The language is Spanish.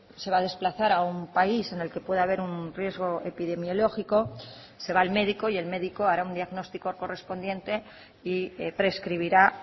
se va a desplazar a un país en el que puede haber un riesgo epidemiológico se va al médico y el médico hará un diagnóstico correspondiente y prescribirá